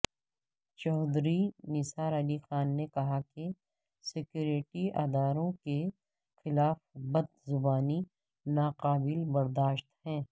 چوہدری نثار علی خان نے کہا کہ سکیورٹی اداروں کے خلاف بدزبانی ناقابل برداشت ہے